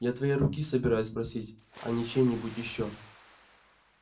я твоей руки собираюсь просить а не чьей-нибудь ещё